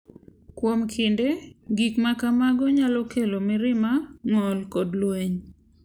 Kuom kinde, gik ma kamago nyalo kelo mirima, ng’ol, kod lweny.